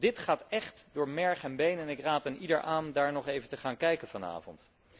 Dit gaat echt door merg en been en ik raad eenieder aan daar nog even te gaan kijken vanavond.